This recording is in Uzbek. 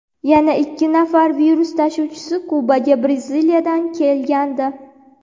Yana ikki nafar virus tashuvchisi Kubaga Braziliyadan kelgandi.